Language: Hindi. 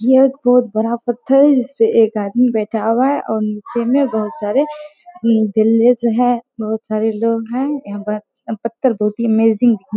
यह एक बहुत बड़ा पत्थर है जिस पे एक आदमी बैठा हुआ है और नीचे में बहुत सारे विलेज हैं बहुत सारे लोग हैं। यहाँ पर पत्थर बहुत ही अमेजिंग हैं।